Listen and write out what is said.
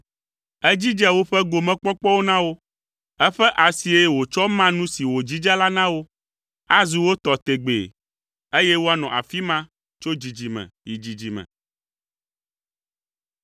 Edzidze woƒe gomekpɔkpɔwo na wo. Eƒe asie wòtsɔ ma nu si wòdzidze la na wo. Azu wo tɔ tegbee, eye woanɔ afi ma tso dzidzime yi dzidzime.